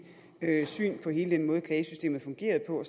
syn på hele den måde klagesystemet fungerede på og